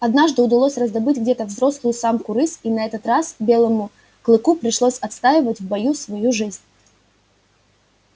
однажды удалось раздобыть где-то взрослую самку рысь и на этот раз белому клыку пришлось отстаивать в бою свою жизнь